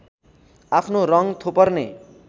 आफ्नो रङ थोपर्ने